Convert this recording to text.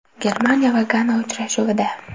Germaniya va Gana uchrashuvida.